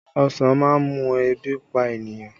Ọsàn má ń mú ebi pa ènìyàn